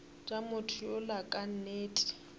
tša motho yola ka nnete